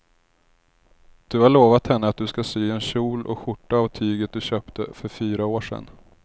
Du har lovat henne att du ska sy en kjol och skjorta av tyget du köpte för fyra år sedan.